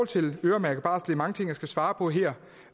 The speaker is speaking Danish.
til øremærket barsel mange ting jeg skal svare på her